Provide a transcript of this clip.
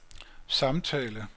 samtale